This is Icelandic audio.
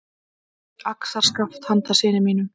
Axarskaft handa syni mínum.